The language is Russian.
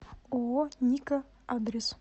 ооо ника адрес